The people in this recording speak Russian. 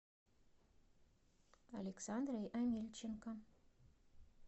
александрой амельченко